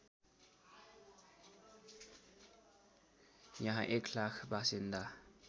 यहाँ १००००० बासिन्दा